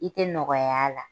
I tɛ nɔgɔya la